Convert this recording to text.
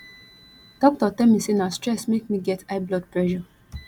doctor tell me say na stress make me get high blood pressure